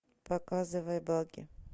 показывай багги